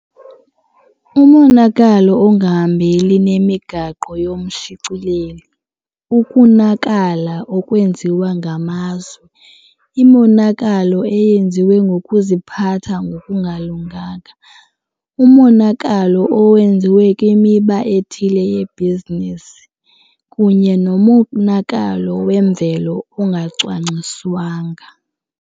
Umonakalo ongahambeli nemigaqo yomshicileli. Ukunakala okwenziwa ngamazwe, imonakalo eyenziwe ngokuziphatha nokungalunganga, umonakalo owenziwe kwimiba ethile yebhizinesi kunye nomonakalo wemvelo ongacwangciswanga.